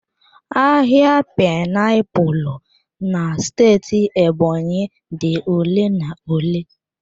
Ahịa painiapulu na steeti Ebonyi dị ole na ole.